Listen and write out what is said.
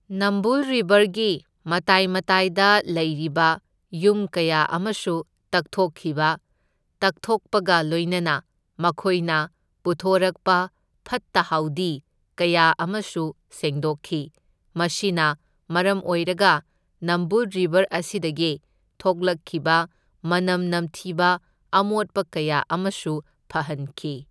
ꯅꯝꯕꯨꯜ ꯔꯤꯕꯔꯒꯤ ꯃꯇꯥꯏ ꯃꯇꯥꯏꯗ ꯂꯩꯔꯤꯕ ꯌꯨꯝ ꯀꯌꯥ ꯑꯃꯁꯨ ꯇꯛꯊꯣꯛꯈꯤꯕ, ꯇꯛꯊꯣꯛꯄꯒ ꯂꯣꯏꯅꯅ ꯃꯈꯣꯏꯅ ꯄꯨꯊꯣꯔꯛꯄ ꯐꯠꯇ ꯍꯥꯎꯗꯤ ꯀꯌꯥ ꯑꯃꯁꯨ ꯁꯦꯡꯗꯣꯛꯈꯤ, ꯃꯁꯤꯅ ꯃꯔꯝ ꯑꯣꯏꯔꯒ ꯅꯝꯕꯨꯜ ꯔꯤꯕꯔ ꯑꯁꯤꯗꯒꯤ ꯊꯣꯛꯂꯛꯈꯤꯕ ꯃꯅꯝ ꯅꯝꯊꯤꯕ ꯑꯃꯣꯠꯄ ꯀꯌꯥ ꯑꯃꯁꯨ ꯐꯍꯟꯈꯤ꯫